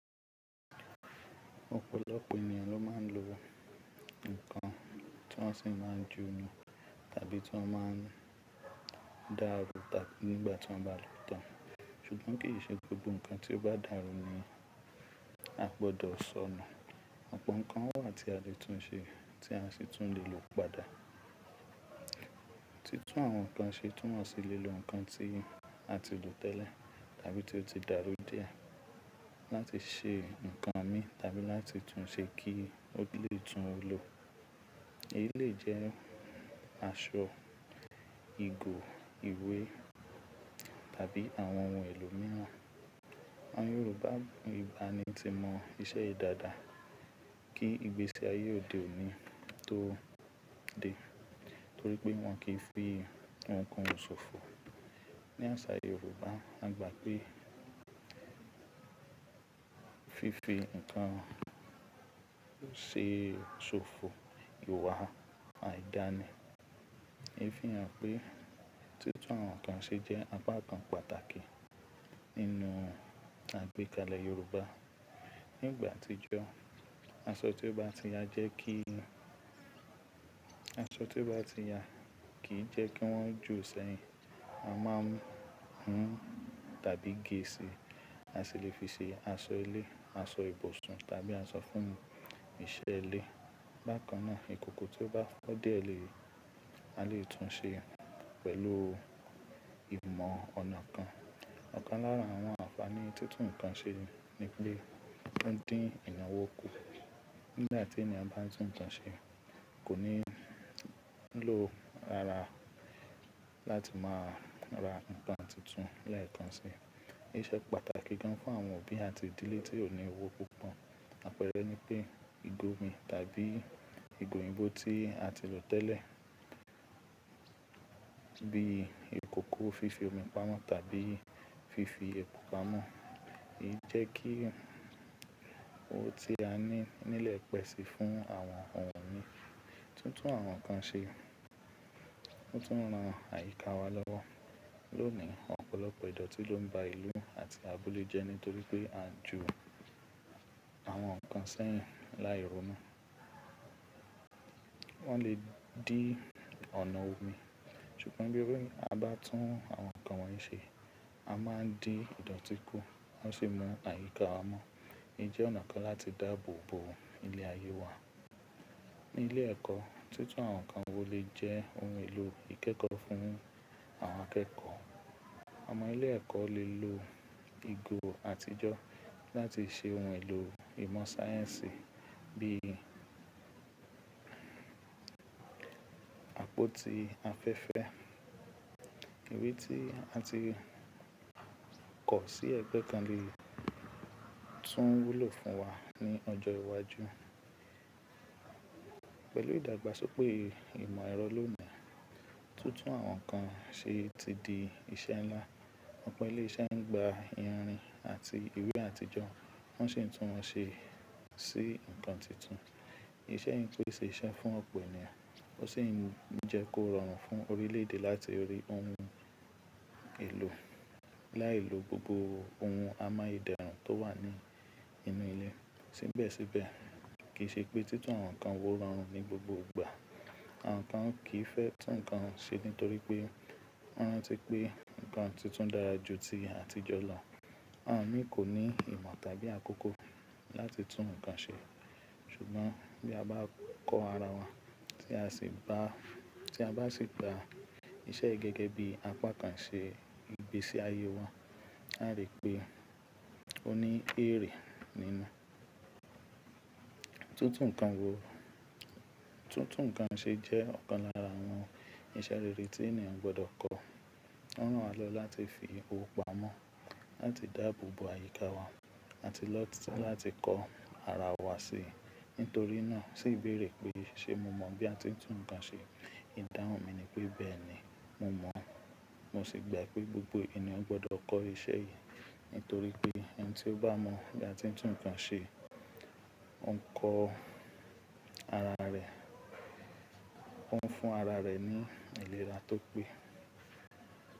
Òpòlopò ènìyàn ló máa ń lo ǹkan tí wọ́n sì máa ń ju inú tàbí tí wọ́n máa ń dá rú taàní nígbà tí wọ́n bá lòó tán. Ṣùgbọ́n kì í ṣe gbogbo ǹkan tí ó bá dàrú ni a gbọdọ̀ sọ nù. Ọ̀pọ̀ nǹkan wà tí a lè tún ṣe tí a sì tún lè lò padà. Títún àwọn nǹkan ṣe tún wọ́n sì lè lo ǹkan tí a ti lò tẹ́lẹ̀ tàbí tí ó ti dàrú díẹ̀ láti ṣe ǹkan mí tàbí láti tún un ṣe kí ó lè tún lò. Èyí lè jẹ́ aṣọ, ìgò, ìwé tàbí àwọn ohun èlò mìíràn. Àwọn Yorùbá ìgbàanì ti mọ iṣẹ́ yìí dáadáa kí ìgbésí ayé òde òní tó dé torí pé wọn kì í fi ohunkóhun sòfò. Ní àṣà Yorùbá, a gbà pé fífi ǹkan ṣe sòfò ìwà àìdánì. Èéfín rẹ̀ pé títún àwọn nǹkan ṣe jẹ́ apá kan pàtàkì nínú àgbékalẹ̀ Yorùbá. Ní ìgbà àtijọ́, aso ti o ba ti ya jẹ ki aṣọ tí ó bá ti ya kì í jẹ́ kí wọ́n jù ọ̀sẹ̀ yìí. A máa ń hun tàbí gé e sí, a sì lè fi ṣe aṣọ ilé, aṣọ ibùsùn tàbí aṣọ fún ìṣẹ̀ ilé. Bákan náà, ìkòkò tí ó bá fọ́ díẹ̀ lè má lè tún ṣe pẹ̀lú ìmọ̀ ọ̀nà kan. Ọ̀kan lára àwọn àfààní títún ǹkan ṣe ni pé ó ń dín ìnáwó kù. Nígbà tí ènìyàn bá tún ǹkan ṣe, kò ní ń lo ara láti máa ra ǹkan tuntun láì kan sí i. Èṣe pàtàkì gan fún àwọn òbí àti ìdílé tí ò ní owó púpọ̀. Àpẹẹrẹ ni pé ìgò omi tàbí ìgò ìbò tí a ti lò tẹ́lẹ̀ bí ìkòkò fífi omi pamọ́ tàbí fífi epo pamọ́. Èyí jẹ́ kí ohun tí a ní nílẹ̀ pẹ́ si fún àwọn ohun mìíràn. Títún àwọn nǹkan ṣe tún ran àyíká wa lọ́wọ́. Lónìí, ọ̀pọ̀lọpọ̀ ìdọ̀tí ló ń ba ìlú àti abúlé jẹ́ nítorí pé a jù àwọn nǹkan sẹ́yìn láì ronú. Wọ́n lè dín ọ̀nà omi. Ṣùgbọ́n bí ẹrú wa bá tún àwọn nǹkan wọ̀nyí ṣe, a máa ń dín ìdọ̀tí kù, a sì mú àyíká wa mọ́. Èyí jẹ́ ọ̀nà kan láti dáàbò bo ilẹ̀ ayé wa. Ní ilé ẹ̀kọ́, títún àwọn nǹkan wo lè jẹ́ ohun èlò ìkẹ́kọ̀ọ́ fún àwọn akẹ́kọ̀ọ́. Àwọn ọmọ ilé ẹ̀kọ́ lè lo ìgò àtijọ́ láti ṣe ohun èlò ìmọ̀ sáyẹ́ǹsì bí àpótí afẹ́fẹ́. Ìwé tí a ti kọ̀ ọ́ sí ẹgbẹ́ kan lè tún wúlò fún wa ní ọjọ́ iwájú. Pẹ̀lú ìdàgbàsókè ìmọ̀ ẹ̀rọ lónìí, títún àwọn nǹkan ṣe ti di iṣẹ ńlá. Ọ̀pọ̀ ilé iṣẹ́ ń gba ìrìn àti ìwé àtijọ́, wọ́n sì ń tún wọn ṣe sí ǹkan tuntun. Ìṣẹ yìí pe ṣe iṣẹ́ fún ọ̀pọ̀ ènìyàn, ó sì ń jẹ́ kó rọrùn fún orílẹ̀ èdè láti rí ohun èlò. Láìlo gbogbo ohun amáyédẹrùn tó wà ní inú ilé síbẹ̀síbẹ̀ kì í ṣe pé títún àwọn nǹkan wo rọrùn ní gbogbo ìgbà. Àwọn kan kì í fẹ́ tún ǹkan ṣe nítorí pé wọ́n rántí pé ǹkan tuntun dára ju ti àtijọ́ lọ. Àwọn mìíràn kò ní ìmọ̀ tàbí àkókò láti tún ǹkan ṣe. Ṣùgbọ́n bí a bá kọ́ ara wa tí a sì gba ìṣe gẹ́gẹ́ bí apá kan ṣe ìgbésí ayé wọn, a lè rí pé ó ní èrè nínú. Títún nǹkan ṣe jẹ́ ọ̀kan lára àwọn ìṣe rere tí ènìyàn gbọdọ̀ kọ́. Ó ran lọ láti fi owó pamọ́, láti dáàbò bo àyíká wa àti lọ láti kọ́ ara wa si. Nítorí náà, sì béèrè pé ṣé mo mọ̀ bí a ti ń tún ǹkan ṣe? Ìdáhùn mi ni pé bẹ́ẹ̀ ni, mo mọ̀. Mo sì gbà pé gbogbo ènìyàn gbọdọ̀ kọ́ ìṣe yìí nítorí pé ẹni tí ó bá mọ̀ bí a ti ń tún ǹkan ṣe, ó ń kọ́ ara rẹ̀, ó ń fún ara rẹ̀ ní ìlera tó pé.